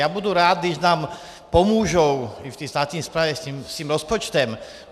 Já budu rád, když nám pomůžou i v té státní správě s tím rozpočtem.